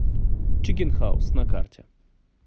чикен хаус на карте